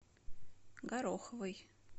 гороховой